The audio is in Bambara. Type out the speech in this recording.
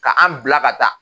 Ka an bila ka taa.